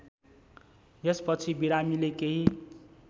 यसपछि बिरामीले केही